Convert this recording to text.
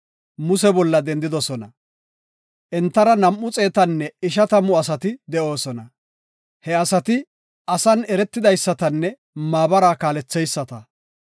Muse bolla dendidosona. Entara nam7u xeetanne ishatamu asati de7oosona; he asati asan eretidaysatanne maabara kaaletheyisata.